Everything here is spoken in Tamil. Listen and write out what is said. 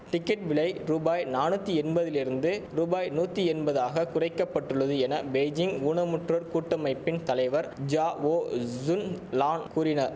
டிக்கெட் விலை ரூபாய் நானூத்தி என்பதிலிருந்து ரூபாய் நூத்தி என்பதாக குறைக்க பட்டுள்ளது என பெய்ஜிங் ஊனமுற்றோர் கூட்டமைப்பின் தலைவர் ஜாவோ சுன்லான் கூறின